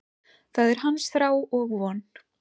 Það er hans þrá og von.